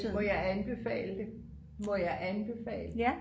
må jeg anbefale det må jeg anbefale det